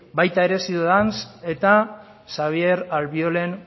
baita ere ciudadans eta xabier albiolen